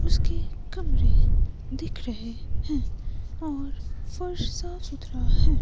उसके कमरे दिख रहे हैं और फर्श साफ सुथरा है।